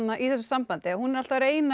í þessu sambandi hún er alltaf að reyna að